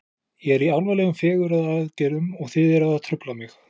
Ég er í alvarlegum fegrunaraðgerðum og þið eruð að trufla mig.